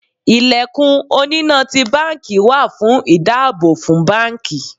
Ilẹ̀kùn oní na ti báńkì wà fún ìdáàbò fún báńkì.